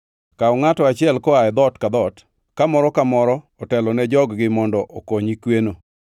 Kaw ngʼato achiel koa e dhoot ka dhoot, ka moro ka moro otelo ne jog-gi mondo okonyi kweno.